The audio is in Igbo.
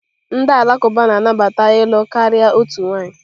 Ndị Alakụba na-anabata ịlụ karịa otu nwanyị.